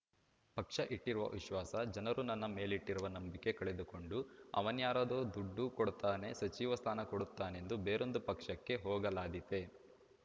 ಪಕ್ಷ ಇಟ್ಟಿರುವ ವಿಶ್ವಾಸ ಜನರು ನನ್ನ ಮೇಲಿಟ್ಟಿರುವ ನಂಬಿಕೆ ಕಳೆದುಕೊಂಡು ಅವನ್ಯಾರೋ ದುಡ್ಡು ಕೊಡ್ತಾನೆ ಸಚಿವ ಸ್ಥಾನ ಕೊಡುತ್ತಾನೆಂದು ಬೇರೊಂದು ಪಕ್ಷಕ್ಕೆ ಹೋಗಲಾದೀತೇ